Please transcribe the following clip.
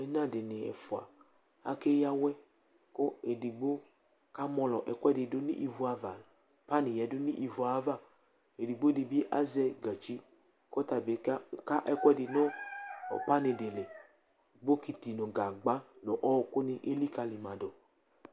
Ɩna dɩnɩ ɛfʋa akeyǝ awɛ kʋ edigbo kamɔlɔ ɛkʋɛdɩ dʋ nʋ ivu ava Panɩ yǝdu nʋ ivu yɛ ava Edigbo dɩ bɩ azɛ gatsi kʋ ɔta bɩ kaka ɛkʋɛdɩ nʋ panɩ dɩ li Bokiti nʋ gagba nʋ ɔɣɔkʋnɩ elikǝli ma dʋ